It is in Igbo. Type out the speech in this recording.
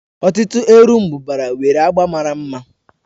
Ọtụtụ erombubara nwere agba mara mma.